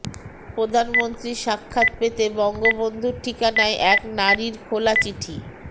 প্রধানমন্ত্রীর সাক্ষাৎ পেতে বঙ্গবন্ধুর ঠিকানায় এক নারীর খোলা চিঠি